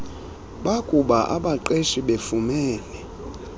bakuba abaqeshi befumene